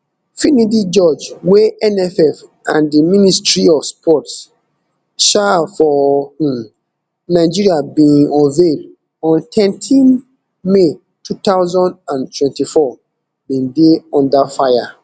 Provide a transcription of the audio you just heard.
finidi george wey nff and di ministry of sports um for um nigeria bin unveil on thirteen may two thousand and twenty-four bin dey under fire